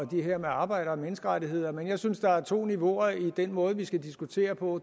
det her med arbejde og menneskerettigheder men jeg synes der er to niveauer i den måde vi skal diskutere på